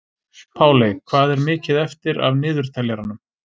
Páley, hvað er mikið eftir af niðurteljaranum?